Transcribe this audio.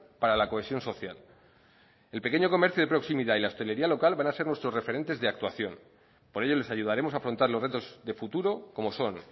para la cohesión social el pequeño comercio de proximidad y la hostelería local van a ser nuestros referentes de actuación por ello les ayudaremos a afrontar los retos de futuro como son